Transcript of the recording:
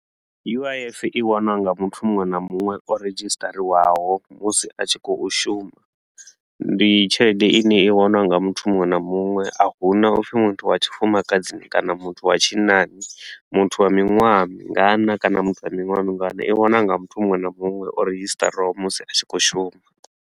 U_I_F i wanwa nga muthu muṅwe na muṅwe o redzhisiṱariwaho musi a tshi khou shuma, ndi tshelede i ne i waniwa nga muthu muṅwe na muṅwe, a huna u pfi muthu wa tshifumakadzini kana muthu wa tshinnani. Muthu wa miṅwaha mingana kana muthu wa miṅwaha mingana, i waniwa nga muthu muṅwe na muṅwe o redzhisiṱariwaho musi a tshi khou shuma.